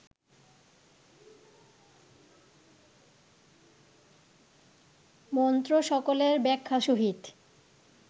মন্ত্রসকলের ব্যাখ্যা সহিত